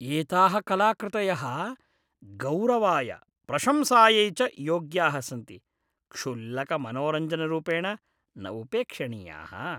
एताः कलाकृतयः गौरवाय प्रशंसायै च योग्याः सन्ति, क्षुल्लकमनोरञ्जनरूपेण न उपेक्षणीयाः।